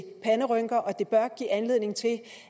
panderynker og det bør give anledning til